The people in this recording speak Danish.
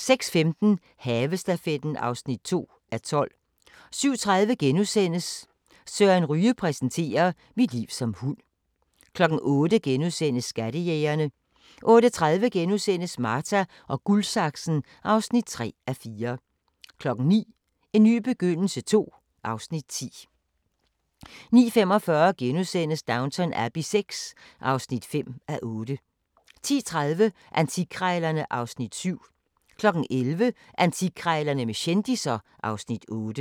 06:15: Havestafetten (2:12) 07:30: Søren Ryge præsenterer: "Mit liv som hund" * 08:00: Skattejægerne * 08:30: Marta & Guldsaksen (3:4)* 09:00: En ny begyndelse II (Afs. 10) 09:45: Downton Abbey VI (5:8)* 10:30: Antikkrejlerne (Afs. 7) 11:00: Antikkrejlerne med kendisser (Afs. 8)